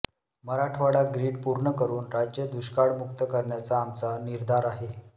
Marathwada grid पूर्ण करून राज्य दुष्काळमुक्त करण्याचा आमचा निर्धार आहे